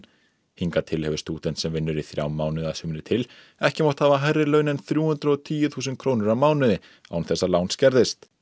hingað til hefur stúdent sem vinnur í þrjá mánuði að sumri til ekki mátt hafa hærri laun en þrjú hundruð og tíu þúsund krónur á mánuði án þess að lán skerðist